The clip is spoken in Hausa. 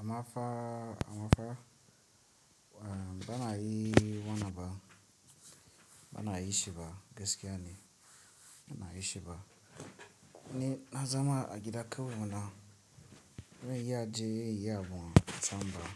Ammafa, ammafa, eh, bana yi wanna ba, bana yi shi ba gaskiya ne, bana yi shi ba. Ni na zama a gida kawai muna, mun yi ya je ya yi abu a tsamba,